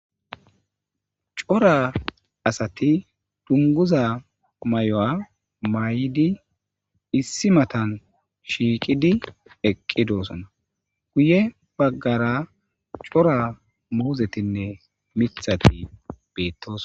Cora asati dunguza may'o'a may'idi issi matan shiiqidi eqqidoosona guye baggara cora moozetinne mithati beettos.